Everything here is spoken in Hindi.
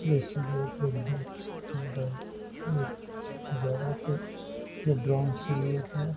नज़ारा है ये ड्रोन से लिया गया --